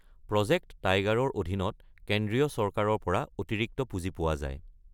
Project টাইগাৰৰ অধীনত কেন্দ্ৰীয় চৰকাৰৰ পৰা অতিৰিক্ত পুঁজি পোৱা যায়।